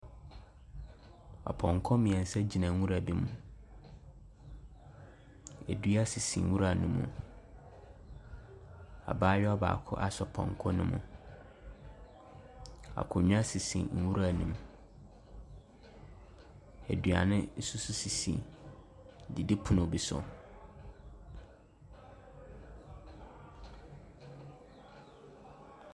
Apɔnkɔ mmeɛnsa gyina nwura bi mu. Dua sisi nwura no mu. Abayewa baako asɔ pɔnkɔ no mu. Akonnwa sisi nwura no mu. Aduane nso sisi didipono bi so.